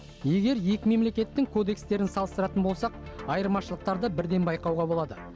егер екі мемлекеттің кодекстерін салыстыратын болсақ айырмашылықтарды бірден байқауға болады